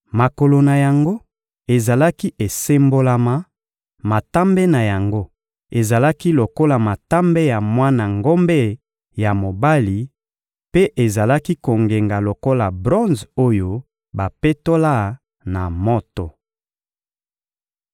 Makolo na yango ezalaki esembolama, matambe na yango ezalaki lokola matambe ya mwana ngombe ya mobali mpe ezalaki kongenga lokola bronze oyo bapetola na moto.